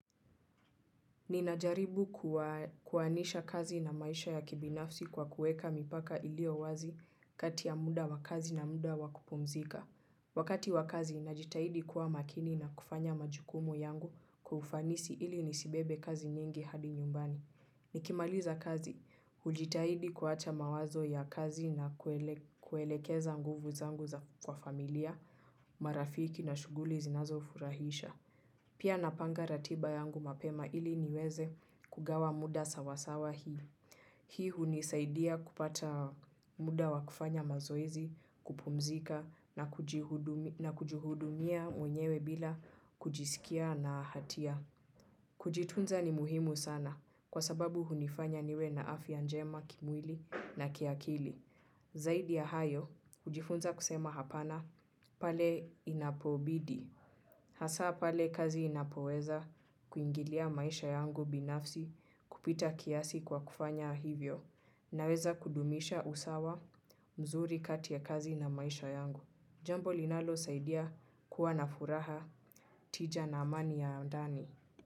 Ninajaribu kuwanisha kazi na maisha ya kibinafsi kwa kuweka mipaka iliyo wazi kati ya muda wa kazi na muda wa kupumzika. Wakati wakazi, najitahidi kuwa makini na kufanya majukumu yangu kwa ufanisi ili nisibebe kazi nyingi hadi nyumbani. Nikimaliza kazi, hujitahidi kuacha mawazo ya kazi na kuelekeza nguvu zangu kwa familia, marafiki na shughuli zinazonifurahisha. Pia napanga ratiba yangu mapema ili niweze kugawa muda sawasawa hii. Hii hunisaidia kupata muda wa kufanya mazoezi, kupumzika na kujihudumia mwenyewe bila kujisikia na hatia. Kujitunza ni muhimu sana kwa sababu hunifanya niwe na afya njema kimwili na kiakili. Zaidi ya hayo, hujifunza kusema hapana pale inapobidi. Hasa pale kazi inapoweza kuingilia maisha yangu binafsi kupita kiasi kwa kufanya hivyo. Naweza kudumisha usawa mzuri kati ya kazi na maisha yangu. Jambo linalosaidia kuwa na furaha tija na amani ya ndani.